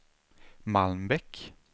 Malmbäck